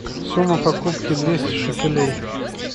сумма покупки двести шекелей